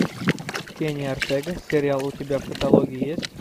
кенни ортега сериал у тебя в каталоге есть